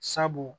Sabu